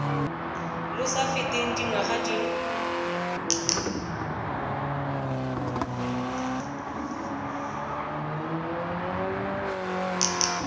lo sa feteng dingwaga di